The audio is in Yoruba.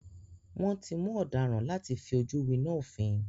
Wọ́n ti mú ọ̀daràn láti fi ojú winá òfin.